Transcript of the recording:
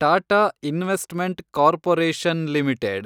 Tata investment corporation limited